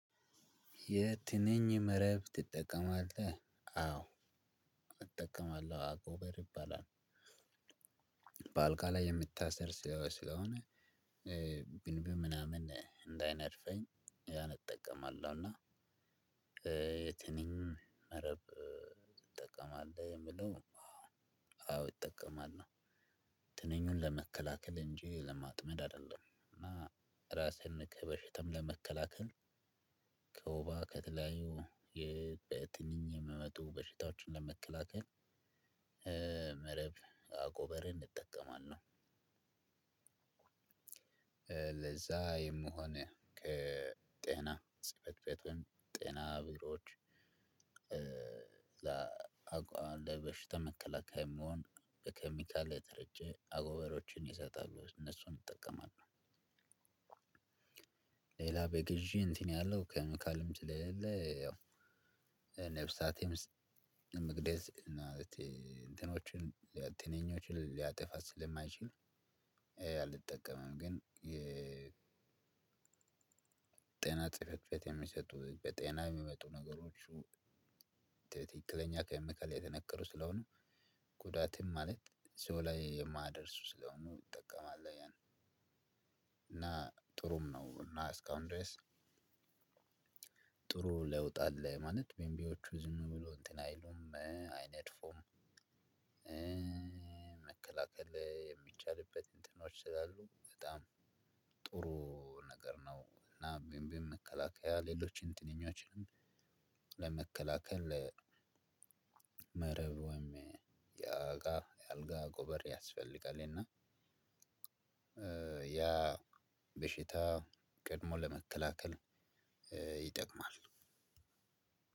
የትንኝ መረብ ትጠቀማለህ አዎ እጠቀማለሁ አጎበር ይባላል። በአልጋ ላይ የሚታሰር ስለሆነ ብንቢ ምናምን እንዳይነድፈኝ ያን እጠቀማለሁ። እና የትንኝ መረብ ትጠቀማለህ የሚለው? አዎ እጠቀማለው። ትንኙን ለመከላከል እንጂ ለማጥመድ አይደለም። እና ራስህን ከበሽታም ለመከላከል ከወባ ከተለያዩ በትንኝ የሚመጡ በሽታዎችን ለመከላከል መረብ አጎበርን እጠቀማለሁ። ለዛ የሚሆን ከጤና ጽህፈት ቤት ወይም ጤና ቢሮዎች። ለበሽታ መከላከያ የሚሆን በኬሚካል የተረጨ አጎበሮችን ይሰጣሉ እነሱን እጠቀማለው። ሌላ በግዢ እንትን ያለው ኬሚካልም ስለሌለ ያው ነፍሳትም ለመግደል ማለቴ እንትኖችን ትንኞችን ሊያጠፋ ስለማይችል አልጠቀምም። ግን። ጤና ጽፌት የሚሰጡ በጤና የሚመጡ ነገሮቹ ትክክለኛ ኬሚካል የተነከሩ ስለሆኑ ጉዳትም ማለት ሰው ላይ የማያደርሱ ስለሆኑ እጠቀማለሁ። ያን እና ጥሩም ነው እና እስካሁን ድረስ ጥሩ ለውጥ አለ ማለት ቢምቢዎቹ ዝም ብሎ እንትን አይሉም አይነድፉም። መከላከል የሚቻልበት እንትኖች ስላሉ በጣም ጥሩ ነገር ነው። እና ቢምቢም መከላከያ ሌሎችን ትንኞችን ለመከላከል መረብ ወይም የአጋ የአልጋ አጎበር ያስፈልጋል። እና ያ በሽታ ቀድሞ ለመከላከል ይጠቅማል።